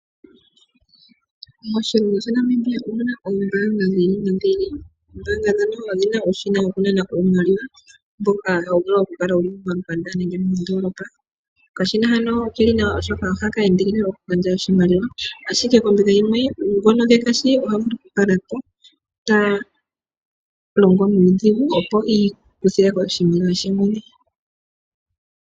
Moshilongo shaNamibia omu na oombaanga dhi ili nodhi ili. Oombaanga ndhono dhi na uushina wokunana ko oshimaliwa, mboka hawu vulu okukala momalukande nenge moondoolopa. Okashina hano oke li nawa, oshoka ohaka endelele okugandja oshimaliwa. Ashike kombinga yimwe ngono kee ka shi oha vulu okukala po ta longo nuudhigu, opo ikuthele ko oshimaliwa she yemwene.